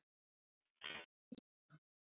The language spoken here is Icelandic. Eivör, áttu tyggjó?